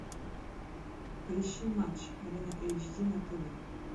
поищи матч арена эйч ди на тв